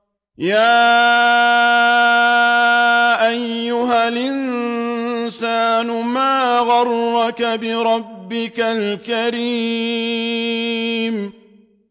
يَا أَيُّهَا الْإِنسَانُ مَا غَرَّكَ بِرَبِّكَ الْكَرِيمِ